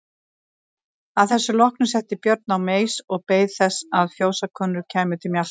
Að þessu loknu settist Björn á meis og beið þess að fjósakonur kæmu til mjalta.